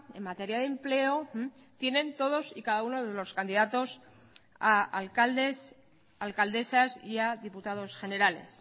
en materia de empleo tienen todos y cada uno de los candidatos a alcaldes alcaldesas y a diputados generales